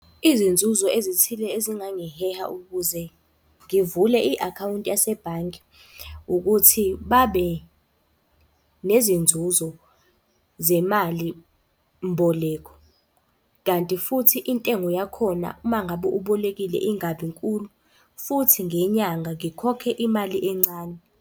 Izinzuzo ezithile ezingangiheha ukuze ngivule i-akhawunti yasebhange, ukuthi babe nezinzuzo zemalimboleko. Kanti futhi intengo yakhona, uma ngabe ubolekile ingabi nkulu, futhi ngenyanga ngikhokhe imali encane.